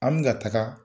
An mi ka taga